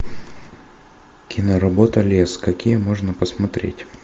киноработа лес какие можно посмотреть